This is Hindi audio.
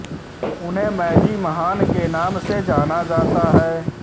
उन्हें मैजी महान के नाम से जाना जाता है